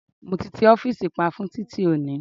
Mo ti ti ọ́fìsì pa fún titi oni